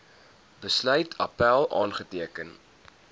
besluit appèl aanteken